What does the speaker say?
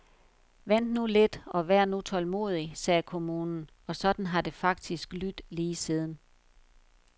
Vent nu lidt og vær nu tålmodig, sagde kommunen, og sådan har det faktisk lydt lige siden.